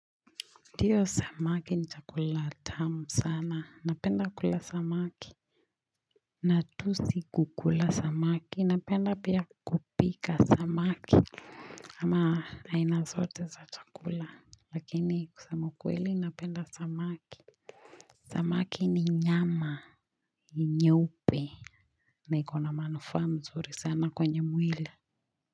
Ndio samaki ni chakula tamu sana. Napenda kula samaki. Na tu si kukula samaki. Napenda pia kupika samaki. Ama aina zote za chakula. Lakini kusema ukweli, napenda samaki. Samaki ni nyama ni nyeupe na iko na manufaa mzuri sana kwenye mwili.